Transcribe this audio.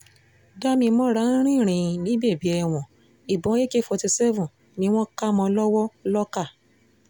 dámimọ́ra ń rìn rìn ní bèbè ẹ̀wọ̀n ìbọn ak forty seven ni wọ́n kà mọ́ ọn lọ́wọ́ lọ́kà